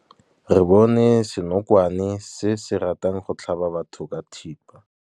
Re bone senokwane se se ratang go tlhaba batho ka thipa.